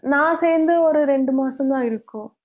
நான் சேர்ந்து ஒரு ரெண்டு மாசம்தான் இருக்கும்